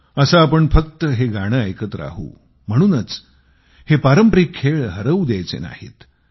असे आपण फक्त हे गाणे ऐकत राहू म्हणूनच हे पारंपारिक खेळ हरवू द्यायचे नाहीत